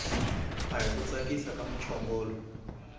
ahi ku tsakisa ka muchongolo